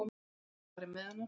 Það var farið með hana.